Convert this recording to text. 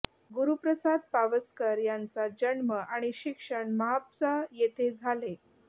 गुरुप्रसाद पावसकर यांचा जन्म आणि शिक्षण म्हापसा येथे झाले